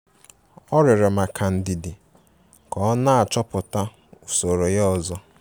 Ọ rịorọ maka ndidi ka ọ na-achọpụta usoro ya ozo.